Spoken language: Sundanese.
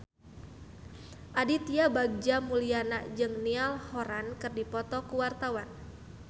Aditya Bagja Mulyana jeung Niall Horran keur dipoto ku wartawan